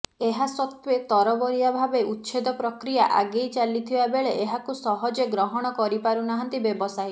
ଏହାସତ୍ତ୍ୱେ ତରବରିଆ ଭାବେ ଉଚ୍ଛେଦ ପ୍ରକ୍ରିୟା ଆଗେଇ ଚାଲିଥିବା ବେଳେ ଏହାକୁ ସହଜେ ଗ୍ରହଣ କରି ପାରୁନାହାନ୍ତି ବ୍ୟବସାୟୀ